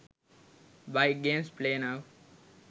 bike games play now